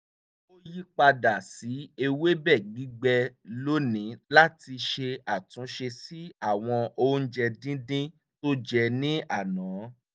ó yí padà sí ewébẹ̀ gbígbẹ lónìí láti ṣe àtúnṣe sí àwọn oúnjẹ díndín tó jẹ ní àná